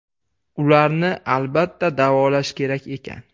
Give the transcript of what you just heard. Ularni, albatta, davolash kerak ekan.